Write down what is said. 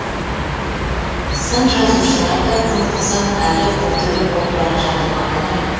сын жазушылар да тым қызық әрі біртүрлі болып бара жатыр ма қалай